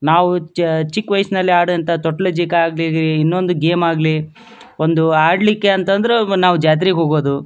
ನಾವು ಚಿಕ್ಕ್ ವಯಸ್ಸಲ್ಲಿ ಆಡಿದಂತಹ ತೋಟ್ಲ್ ಆಗ್ಲಿ ಇನ್ನೊಂದ್ ಗೇಮ್ ಆಗ್ಲಿ ನಾವು ಅಡ್ಲಿಕಂತ ಅಂದ್ರೆ ನಾವು ಜಾತ್ರೆಗ್ ಹೋಗೋದು.